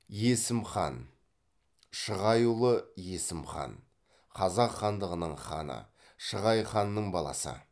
есім хан шығайұлы есім хан қазақ хандығының ханы шығай ханның баласы